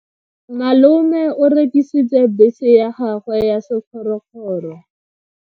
Malome o rekisitse bese ya gagwe ya sekgorokgoro.